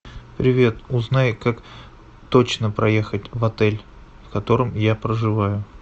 привет узнай как точно проехать в отель в котором я проживаю